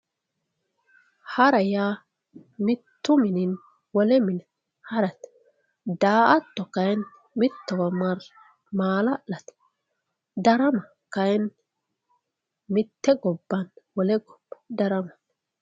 hara yaa mittu mininni wole mine harate daa''ato kayiinni mittowa marre maala'late darama kayiinni mitte gobbanni wole gobba daramate.